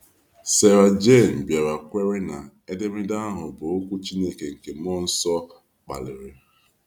Sarah Jayne bịara kwere na edemede ahụ bụ Okwu Chineke nke mmụọ nsọ kpaliri.